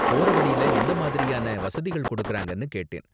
போற வழில எந்த மாதிரியான வசதிகள் கொடுக்கறாங்கன்னு கேட்டேன்.